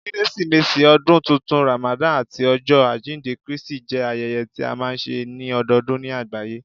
Keresimesi, Ọdun Tuntun, Ramadan, ati Ọjọ ajinde Kristi jẹ ayẹyẹ tí a máa ń ṣe ní ọdọọdún ní àgbáyé